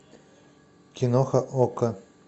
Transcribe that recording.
киноха окко